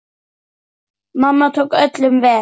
Mamma tók öllum vel.